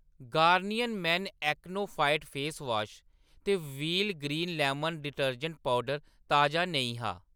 Garnier men AcnoFight face wash ते Wheel green lemon detergent powder ताजा नेईं हा।